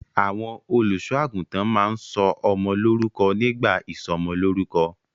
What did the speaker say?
Àwọn olùṣọ́-àgùntàn máa ń sọ ọmọ lórúkọ nígbà ìsọmọlórúkọ.